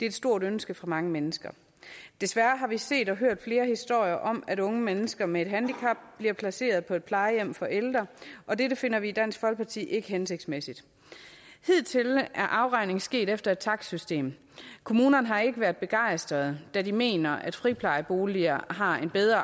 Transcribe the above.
et stort ønske for mange mennesker desværre har vi set og hørt flere historier om at unge mennesker med et handicap bliver placeret på et plejehjem for ældre og det finder vi i dansk folkeparti ikke hensigtsmæssigt hidtil er afregningen sket efter et takstsystem kommunerne har ikke været begejstrede da de mener at friplejeboliger har en bedre